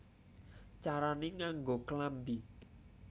Carané Nganggo Klambi